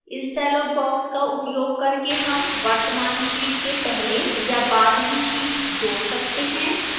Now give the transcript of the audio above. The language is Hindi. इस dialog box का उपयोग करके हम वर्तमान sheet के पहले या बाद में sheet जोड़ सकते हैं